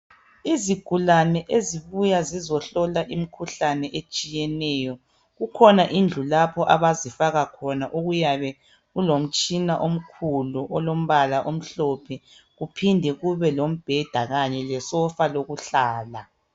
Izigulani ezibuya zizohlola imikhuhlane etshiyeneyo kukhona indlu lapho abazifaka khona okuyabe kulemitshina omkhulu olombala omhlophe kuphinde kube kombheda kanye lesofa lokuhlala.